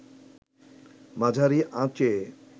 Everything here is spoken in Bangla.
মাঝারি আঁচে